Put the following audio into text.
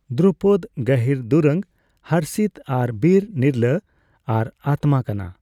ᱫᱨᱩᱯᱚᱫ ᱜᱟᱹᱦᱤᱨ ᱫᱩᱨᱟᱹᱝ ᱦᱚᱨᱥᱤᱛ ᱟᱨ ᱵᱤᱨ, ᱱᱤᱨᱞᱟᱹ ᱟᱨ ᱟᱛᱢᱟ ᱠᱟᱱᱟ ᱾